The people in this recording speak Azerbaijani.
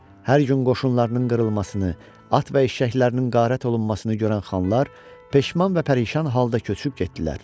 Hər gün qoşunlarının qırılmasını, at və eşşəklərinin qərat olunmasını görən xanlar peşman və pərişan halda köçüb getdilər.